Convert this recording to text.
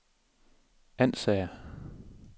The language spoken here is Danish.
Ansager